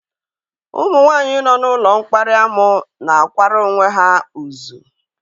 Ụmụ nwanyị nọ n'ụlọ mkparị̀ amụ na-akwara onwe ha uzww